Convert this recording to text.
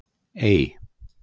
Ey